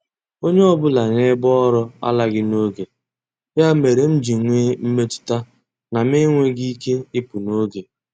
Onye ọbụla n'ebe ọrụ alaghị n'oge, ya mere m ji nwee mmetụta na m enweghị ike ịpụ n'oge.